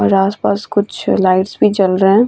और आस-पास कुछ लाइट्स भी जल रहे हैं |